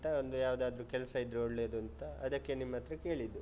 ಒಂದು ಯಾವ್ದಾದ್ರು ಕೆಲ್ಸ ಇದ್ರೆ ಒಳ್ಳೇದೂಂತ, ಅದಕ್ಕೇ ನಿಮ್ಹತ್ರ ಕೇಳಿದ್ದು.